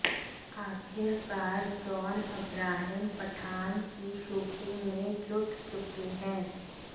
आखिरकार John Abraham Pathan की shooting में जुट चुके हैं